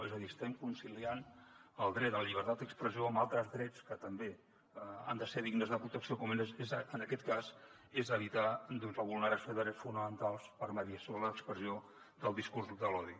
és a dir estem conciliant el dret a la llibertat d’expressió amb altres drets que també han de ser dignes de protecció com en aquest cas és evitar doncs la vulneració de drets fonamentals per mediació de l’expressió del discurs de l’odi